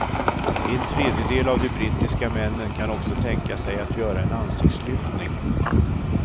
En tredjedel av de brittiska männen kan också tänka sig att göra en ansiktslyftning.